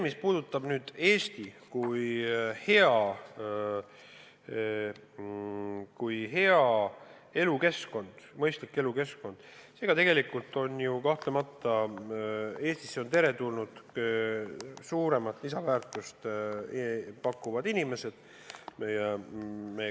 Mis puudutab Eestit kui head elukeskkonda, mõistlikku elukeskkonda, siis kahtlemata Eestisse on teretulnud suuremat lisandväärtust pakkuvad inimesed.